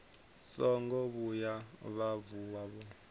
songo vhuya vha vuwa vho